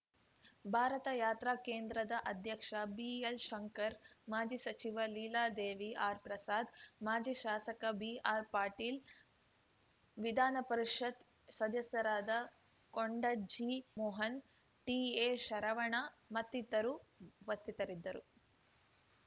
ಭಾರತಯಾತ್ರಾ ಕೇಂದ್ರದ ಅಧ್ಯಕ್ಷ ಬಿಎಲ್‌ಶಂಕರ್‌ ಮಾಜಿ ಸಚಿವ ಲೀಲಾದೇವಿ ಆರ್‌ಪ್ರಸಾದ್‌ ಮಾಜಿ ಶಾಸಕ ಬಿಆರ್‌ಪಾಟೀಲ್ ವಿಧಾನ ಪರಿಷತ್‌ ಸದಸ್ಯರಾದ ಕೊಂಡಜ್ಜಿ ಮೋಹನ್‌ ಟಿಎಶರವಣ ಮತ್ತಿತರು ಉಪಸ್ಥಿತರಿದ್ದರು